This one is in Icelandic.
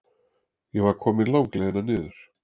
Ég var komin langleiðina niður.